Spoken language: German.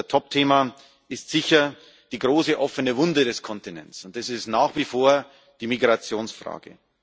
Das Topthema ist sicher die große offene Wunde des Kontinents, und das ist nach wie vor die Migrationsfrage.